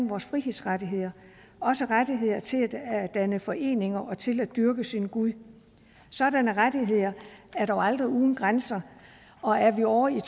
vores frihedsrettigheder også rettigheder til at danne foreninger og til at dyrke sin gud sådanne rettigheder er dog aldrig uden grænser og er vi ovre i